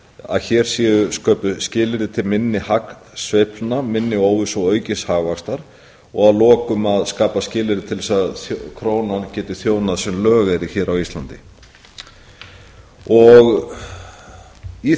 að hér séu sköpuð skilyrði til minni hagsveiflna minni óvissu og aukins hagvaxtar og að lokum að skapa skilyrði til þess að krónan geti þjónað sem lögeyrir á ísland í